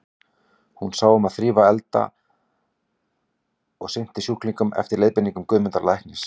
Hún sá um að þrífa og elda og sinnti sjúklingnum eftir leiðbeiningum Guðmundar læknis.